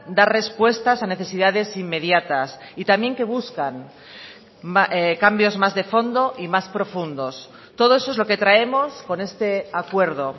dar respuestas a necesidades inmediatas y también que buscan cambios más de fondo y más profundos todo eso es lo que traemos con este acuerdo